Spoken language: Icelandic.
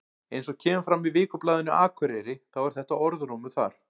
Eins og kemur fram í Vikublaðinu Akureyri þá er þetta orðrómur þar.